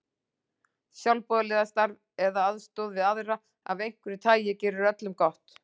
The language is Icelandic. Sjálfboðaliðastarf eða aðstoð við aðra af einhverju tagi gerir öllum gott.